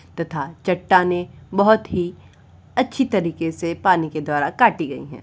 तथा चट्टाने बहुत ही अच्छी तरीके से पानी के द्वारा काटी गई हैं।